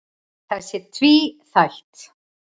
Það sé tvíþætt.